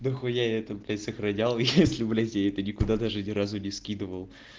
нахуя это блять сохранял если блять я это никуда даже ни разу не скидывал